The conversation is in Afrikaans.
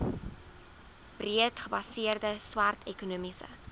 breedgebaseerde swart ekonomiese